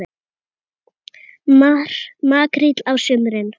Makríll á sumrin.